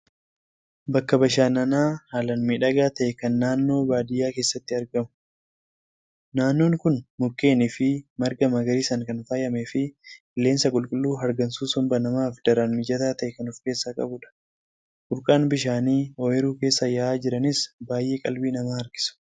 Bakka bashannanaa haalaan miidhagaa ta'e kan naannoo baadiyaa keessatti argamu. Naannoon kun mukeenii fi marga magariisaan kan faayamee fi qilleensa qulqulluu hargansuu somba namaaf daran mijataa ta'e kan ofkeessaa qabudha. Burqaan bishaanii ooyiruu keessa yaa'aa jiranis baay'ee qalbii namaa harkisu.